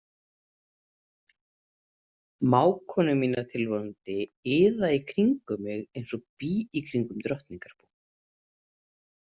Mágkonur mínar tilvonandi iða í kringum mig eins og bý í kringum drottningarbú.